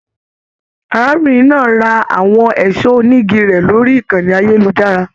Arábìnrin náà rà àwọn ẹṣọ onígí rẹ lórí ìkànnì ayelujara.